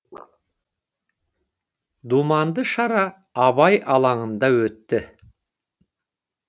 думанды шара абай алаңында өтті